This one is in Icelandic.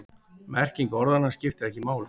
Merking orðanna skiptir ekki máli.